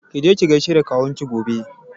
Ki je ki gaishe da kawun ki gobe!